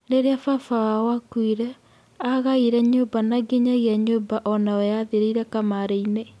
Rĩrĩa baba wao akuire, agaire nyũmba na nginyagia nyũmba onayo yathirĩire kamarĩ-ĩnĩ.